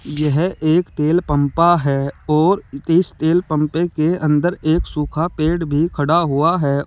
यह एक तेल पम्पा है और इस तेल पम्पे के अंदर एक सूखा पेड़ भी खड़ा हुआ है।